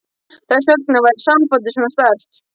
Þess vegna væri sambandið svona sterkt.